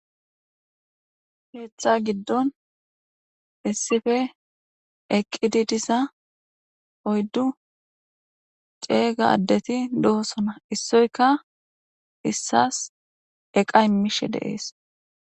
Keeththa giddon issife eqqidi diza oyddu c'ega addeti dosona issoyka issas eqa imishe deees